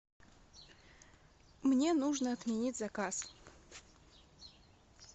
мне нужно отменить заказ